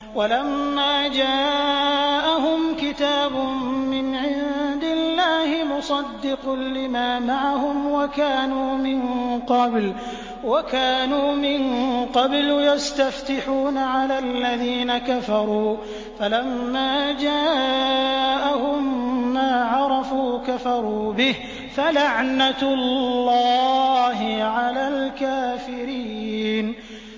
وَلَمَّا جَاءَهُمْ كِتَابٌ مِّنْ عِندِ اللَّهِ مُصَدِّقٌ لِّمَا مَعَهُمْ وَكَانُوا مِن قَبْلُ يَسْتَفْتِحُونَ عَلَى الَّذِينَ كَفَرُوا فَلَمَّا جَاءَهُم مَّا عَرَفُوا كَفَرُوا بِهِ ۚ فَلَعْنَةُ اللَّهِ عَلَى الْكَافِرِينَ